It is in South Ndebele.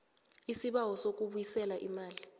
isibawo sokubuyisela imali